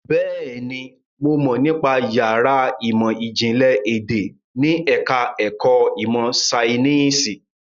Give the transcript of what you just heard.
Bẹ́ẹ̀ni, mo mọ̀ nípa yàrá ìmọ̀ ìjìnlẹ̀ èdè ní ẹ̀ka ẹ̀kọ́ ìmọ̀ Ṣainíìsì.